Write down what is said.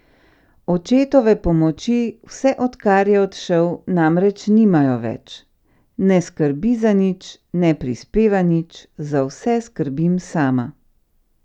Očetove pomoči, vse odkar je odšel, namreč nimajo več: "Ne skrbi za nič, ne prispeva nič, za vse skrbim sama.